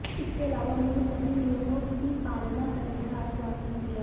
इसके अलावा उन्होंने सभी नियमों की पालना करने का आश्वासन दिया